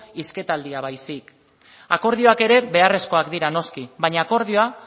hizketaldia baizik akordioak ere beharrezkoak dira noski baina akordioa